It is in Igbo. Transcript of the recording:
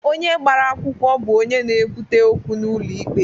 Onye gbara akwụkwọ bụ onye na-ebute okwu n'ụlọ ikpe.